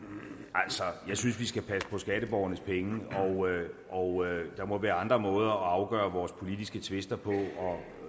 altså jeg synes vi skal passe på skatteborgernes penge og der må være andre måder at afgøre vores politiske tvister på